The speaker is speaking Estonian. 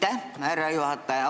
Aitäh, härra juhataja!